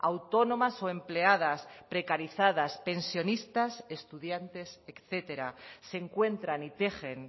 autónomas o empleadas precarizadas pensionistas estudiantes etcétera se encuentran y tejen